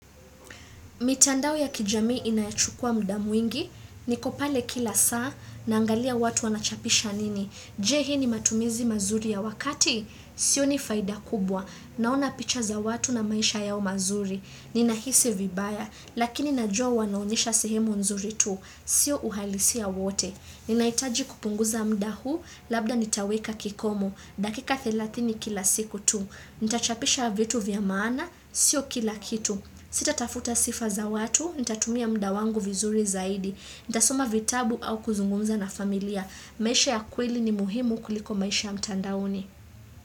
Mitandao ya kijamii inayochukua muda mwingi, nikopale kila saa, na angalia watu wanachapisha nini, je hii ni matumizi mazuri ya wakati, sio ni faida kubwa, naona picha za watu na maisha yao mazuri, ninahisi vibaya, lakini najua wanaonyesha sehemu nzuri tu, sio uhalisia wote, ninaitaji kupunguza mda huu, labda nitaweka kikomo, dakika 30 kila siku tu, nitachapisha vitu vyamaana, sio kila kitu. Sita tafuta sifa za watu, ni tatumia mda wangu vizuri zaidi, ni tasoma vitabu au kuzungumza na familia. Maisha ya kweli ni muhimu kuliko maisha ya mtandaoni.